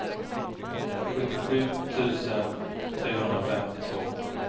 sjuttiosju tusen trehundrafemtiotvå